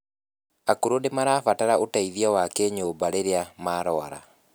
akũrũ nimabaratara ũteithio wa kinyumba rirĩa marwara